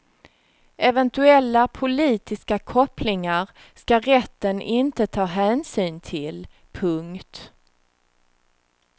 Eventuella politiska kopplingar ska rätten inte ta hänsyn till. punkt